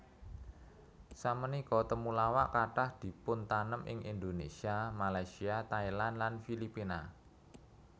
Samenika temulawak kathah dipuntanem ing Indonesia Malaysia Thailand lan Filipina